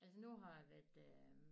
Altså nu har jeg været øh